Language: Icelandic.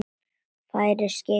Færir skeiðin graut að munni.